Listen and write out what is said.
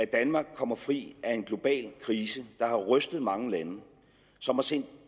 danmark kommer fri af en global krise der har rystet mange lande og som har sendt